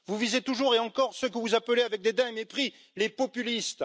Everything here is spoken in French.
Vous visez toujours et encore ce que vous appelez avec dédain et mépris les populistes.